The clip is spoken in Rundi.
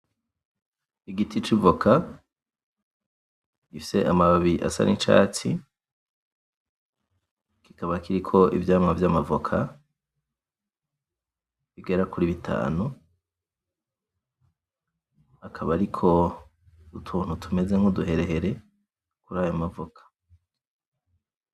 Igiti c'ivoka, gifise amababi asa n'icatsi, kikaba kiriko ivyamwa vy'amavoka bigera kuri bitanu, akaba ariko utuntu tumeze nk'uduherehere kurayo mavoka.